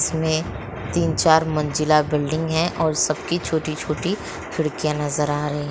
इसमें तीन-चार मंजिला बिल्डिंग है और सबकी छोटी-छोटी खिड़किया नजर आ रही।